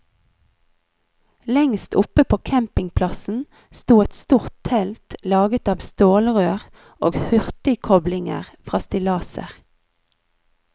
Lengst oppe på campingplassen sto et stort telt laget av stålrør og hurtigkoblinger fra stillaser.